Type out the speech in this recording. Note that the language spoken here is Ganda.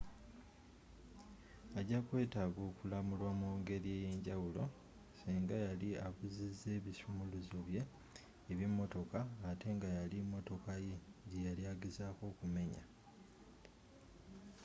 ajakwetaaga okulamulwa mu ngeri eyenjawulo senga yali abuziza ebisumuluzo bye eby'emotoka ate nga yali motoka ye gyeyali agezaako okumenya